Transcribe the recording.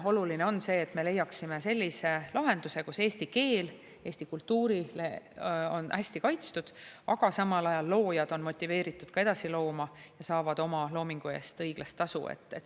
Oluline on see, et me leiaksime sellise lahenduse, kus eesti keel, eesti kultuur on hästi kaitstud, aga samal ajal loojad on motiveeritud ka edasi looma ja saavad oma loomingu eest õiglast tasu.